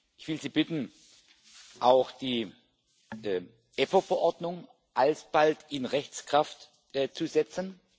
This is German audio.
Ich will Sie bitten, auch die EPPO Verordnung alsbald in Rechtskraft zu setzen.